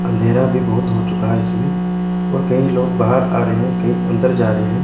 अंधेरा भी बहुत हो चुका है इसमें और कई लोग बाहर आ रहे हैं कई अंदर जा रहे हैं।